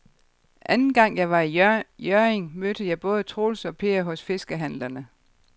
Anden gang jeg var i Hjørring, mødte jeg både Troels og Per hos fiskehandlerne.